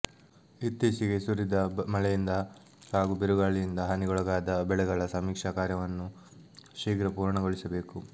ಇತ್ತೀಚೆಗೆ ಸುರಿದ ಮಳೆಯಿಂದ ಹಾಗೂ ಬಿರುಗಾಳಿಯಿಂದ ಹಾನಿಗೊಳಗಾದ ಬೆಳೆಗಳ ಸಮೀಕ್ಷಾ ಕಾರ್ಯವನ್ನು ಶೀಘ್ರ ಪೂರ್ಣಗೊಳಿಸಬೇಕು